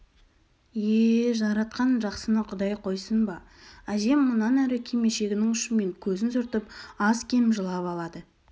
е-е жаратқан жақсыны құдай қойсын ба әжем мұнан әрі кимешегінің ұшымен көзін сүртіп аз-кем жылап алады